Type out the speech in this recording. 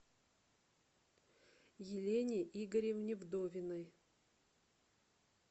елене игоревне вдовиной